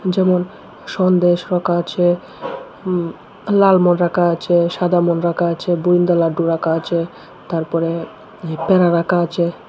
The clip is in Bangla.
যেমন সন্দেশ রাখা আছে উম লালমোর রাখা আছে সাদামোর রাখা আছে বইন্দা লাড্ডু রাখা আছে তারপরে প্যাড়া রাখা আছে।